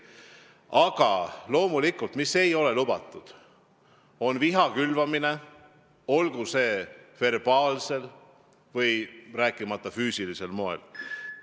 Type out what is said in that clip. Aga loomulikult ei ole lubatud viha külvamine, ei verbaalsel ega füüsilisel moel.